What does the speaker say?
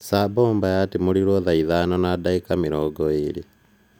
Tsar Bomba yatimũrirwe thaa ithano na dagĩka mĩrongo igĩri